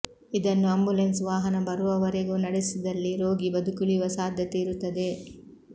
ಇದನ್ನು ಆಂಬುಲೆನ್ಸ್ ವಾಹನ ಬರುವವರೆಗೂ ನಡೆಸಿದಲ್ಲಿ ರೋಗಿ ಬದುಕುಳಿಯುವ ಸಾಧ್ಯತೆ ಇರುತ್ತದೆ